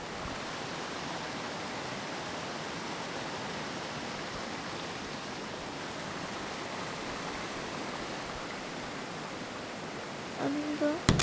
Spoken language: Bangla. আনন্দ